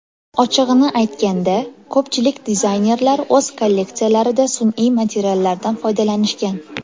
Ochig‘ini aytganda, ko‘pchilik dizaynerlar o‘z kolleksiyalarida sun’iy materiallardan foydalanishgan.